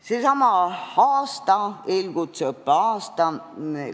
See on seesama eelkutseõppe aasta.